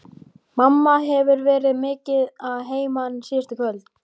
Mamma hefur verið mikið að heiman síðustu kvöld.